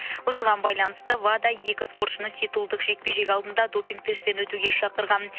осыған байланысты вада екі спортшыны титулдық жекпе жек алдында допинг тесттен өтуге шақырған